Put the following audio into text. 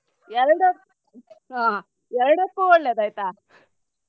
ಎರಡ~ ಆ ಎರಡಕ್ಕೂ ಒಳ್ಳೇದು ಆಯ್ತಾ.